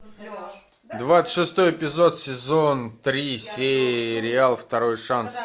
двадцать шестой эпизод сезон три сериал второй шанс